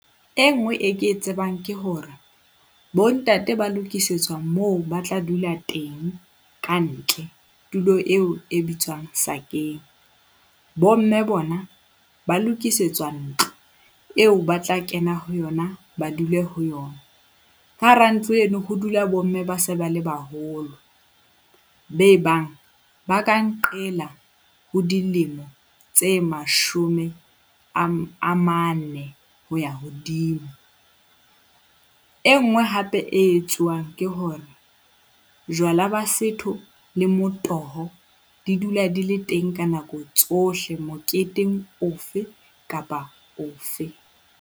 E nngwe e ke e tsebang ke hore bontate ba lokisetswa moo ba tla dula teng ka ntle. Tulo eo e bitswang sakeng. Bomme bona ba lokisetswa ntlo, eo ba tla kena ho yona, ba dule ho yona. Ka hara ntlo eno ho dula bomme ba se ba le baholo, be e bang ba ka nqela ho dilemo tse mashome a mane ho ya hodimo. E nngwe hape e etsuwang ke hore jwala ba setho le motoho di dula di le teng ka nako tsohle, moketeng ofe kapa ofe.